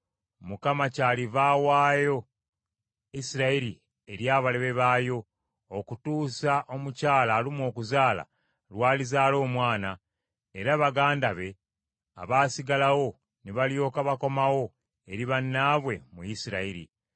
Mukama kyaliva awaayo Isirayiri eri abalabe baayo okutuusa omukyala alumwa okuzaala lwalizaala omwana, era baganda be abaasigalawo ne balyoka bakomawo eri bannaabwe mu Isirayiri.